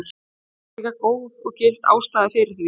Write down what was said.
kannski er líka góð og gild ástæða fyrir því